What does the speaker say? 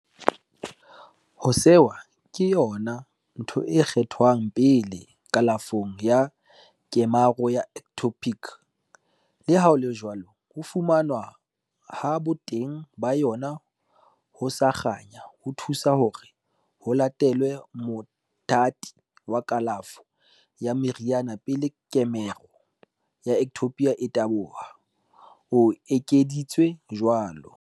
"Ho sewa ke yona ntho e kgethwang pele kalafong ya kemaro ya ectopic, leha ho le jwalo, ho fumanwa ha boteng ba yona ho sa kganya ho thusa hore ho latelwe mothati wa kalafo ya meriana pele kemaro ya ectopic e taboha," o ekeditse jwalo.